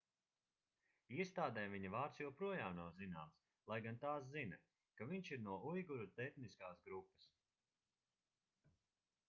iestādēm viņa vārds joprojām nav zināms lai gan tās zina ka viņš ir no uiguru etniskās grupas